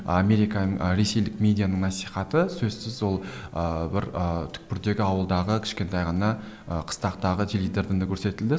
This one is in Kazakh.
ресейлік медианың насихаты сөзсіз ол ыыы бір ы түкпірдегі ауылдағы кішкентай ғана ы қыстақтағы теледидардан да көрсетілді